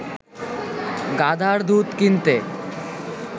গাধার দুধ কিনতে